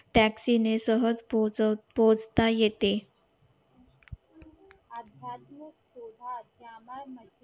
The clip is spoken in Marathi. taxi ने सहज पोहचता येते असं पास शोभा असल्याने